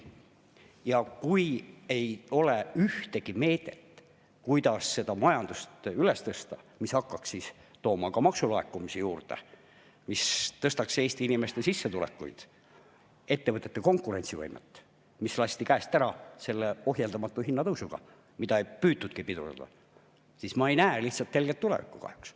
Ja kui ei ole ühtegi meedet, kuidas majandust üles tõsta, nii et see hakkaks tooma maksulaekumisi juurde, nii et see suurendaks Eesti inimeste sissetulekuid ja ettevõtete konkurentsivõimet, mis lasti käest ära ohjeldamatu hinnatõusuga, mida ei püütudki pidurdada, siis ma ei näe lihtsalt helget tulevikku kahjuks.